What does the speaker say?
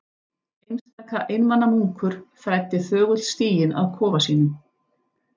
Einstaka einmana munkur þræddi þögull stíginn að kofa sínum.